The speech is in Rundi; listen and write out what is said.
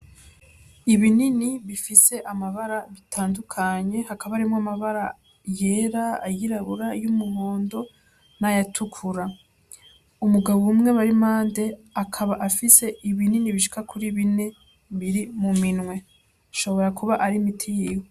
Ibinini bifise amabara bitandukanye, hakaba harimwo amabara yera, ayirabura, ay'umuhondo n'ayatukura. Umugabo umwe bari impande akaba afise ibinini bishika kuri bine biri muminwe. Ashobora kuba ari imiti yiwe.